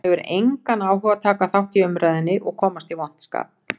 Hann hefur engan áhuga á að taka þátt í umræðunni og komast í vont skap.